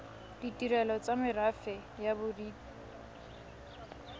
ditirelo tsa merafe ya bodit